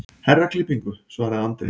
Herraklippingu, svaraði Andri.